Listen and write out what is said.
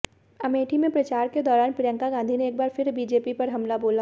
अमेठी में प्रचार के दौरान प्रियंका गांधी ने एक बार फिर बीजेपी पर हमला बोला